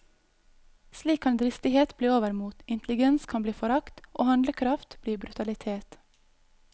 Slik kan dristighet bli overmot, intelligens bli forakt og handlekraft bli brutalitet.